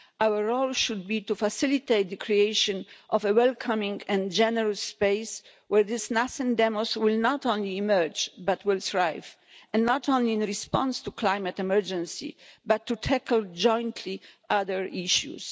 Our role should be to facilitate the creation of a welcoming and generous space where this nascent demos will not only emerge, but will thrive and not only in response to climate emergency, but in tackling jointly other issues.